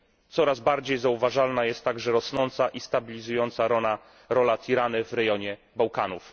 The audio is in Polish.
Coraz bardziej zauważalna jest także rosnąca i stabilizująca rola Tirany w regionie Bałkanów.